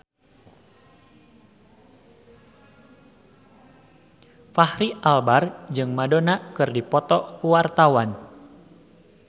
Fachri Albar jeung Madonna keur dipoto ku wartawan